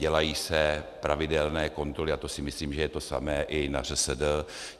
Dělají se pravidelné kontroly a to si myslím, že je to samé i na ŘSD.